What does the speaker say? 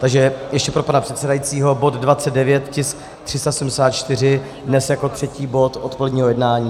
Takže ještě pro pana předsedajícího, bod 29, tisk 374, dnes jako třetí bod odpoledního jednání.